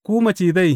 Ku macizai!